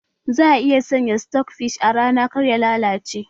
Za a iya sanya sitok fish a rana kar ya lalace